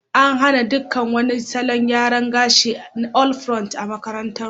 An hana duk wani salon gyara gashi na all pront a makarantarmu.